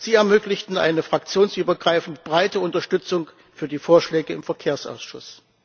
Sie ermöglichten eine fraktionsübergreifend breite Unterstützung für die Vorschläge im Verkehrsausschuss.